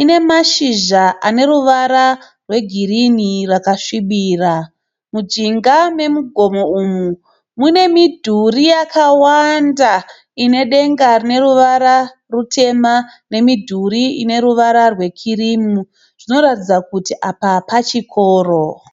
ine mashizha ane ruvara rwegirinhi rwakasvibira. Mujinga megomo umu mune midhuri yakawanda ine denga rine ruvara rutema nemidhuri ine ruvara rwekirimu zvinoratidza kuti apa pachikoro.